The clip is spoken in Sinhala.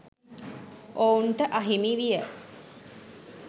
ඔවුන්ට අහිමි විය.